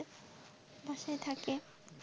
বাসায় থাকে।